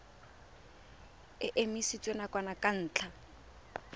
e emisitswe nakwana ka ntlha